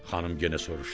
Xanım yenə soruşdu.